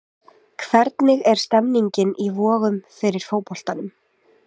Hvernig er stemningin í Vogum fyrir fótboltanum?